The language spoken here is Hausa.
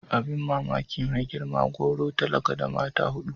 Abin mamaki mai gari gwauro talaka da mata hudu.